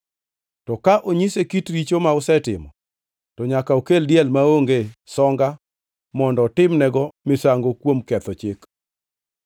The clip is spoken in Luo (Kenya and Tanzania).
To ka onyise kit richo ma osetimo to nyaka okel diel maonge songa mondo otimnego misango kuom ketho chik.